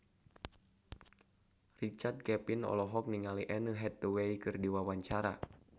Richard Kevin olohok ningali Anne Hathaway keur diwawancara